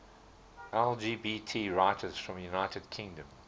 lgbt writers from the united kingdom